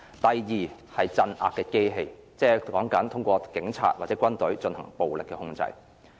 第二是鎮壓的機器，即是說通過警察或軍隊進行暴力的控制。